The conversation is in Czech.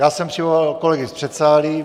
Já jsem přivolal kolegy z předsálí.